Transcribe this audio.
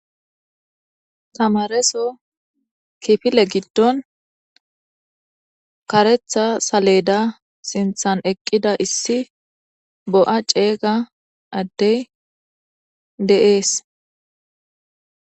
Tamaareso kifile giddon kareththa saleda lanqen issi bo'a addey eqqidi dees.